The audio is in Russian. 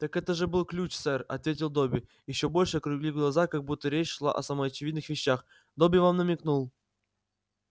так это же был ключ сэр ответил добби ещё больше округлив глаза как будто речь шла о самоочевидных вещах добби вам намекнул